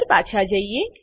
પર પાછા જઈએ